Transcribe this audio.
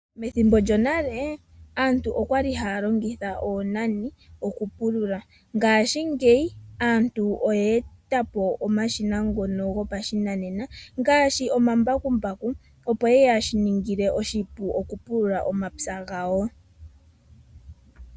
Methimbo djo nale, aantu okwali haya longitha oonane oku pulula ngaashingeyi, aantu oyeeta po omashina ngono gopa shinanena, ngaashi oma mbakumbaku opo yeya shiningile oshipu oku pulula omapya gawo.